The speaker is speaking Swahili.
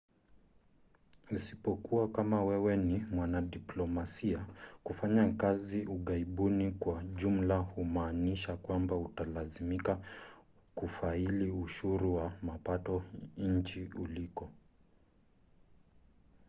isipokuwa kama wewe ni mwanadiplomasia kufanya kazi ughaibuni kwa jumla humaanisha kwamba utalazimika kufaili ushuru wa mapato nchini uliko